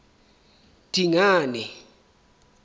dingane